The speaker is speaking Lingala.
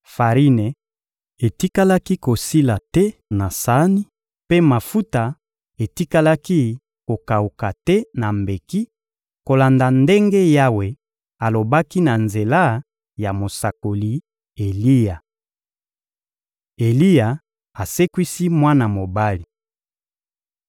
Farine etikalaki kosila te na sani, mpe mafuta etikalaki kokawuka te na mbeki, kolanda ndenge Yawe alobaki na nzela ya mosakoli Eliya. Eliya asekwisi mwana mobali